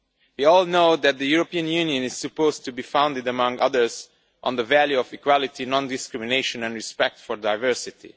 We all know that the European Union is supposed to be founded, among other things, on the value of equality, non discrimination and respect for diversity.